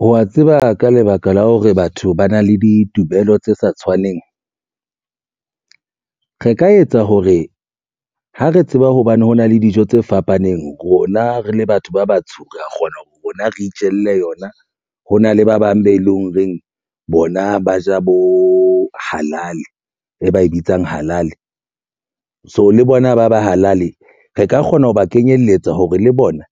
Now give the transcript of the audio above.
Wa tseba ka lebaka la hore batho ba na le ditumelo tse sa tshwaneng re ka etsa hore ha re tseba hobane hona le dijo tse fapaneng rona re le batho ba batsho re kgona ho rona re itjelle yona hona le ba bang be leng reng. Bona ba ja bo halali e ba e bitsang halali so le bona ba halali. Re ka kgona ho ba kenyelletsa hore le bona